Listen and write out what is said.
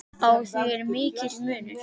Á því er mikill munur.